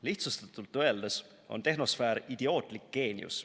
Lihtsustatult öeldes on tehnosfäär idiootlik geenius.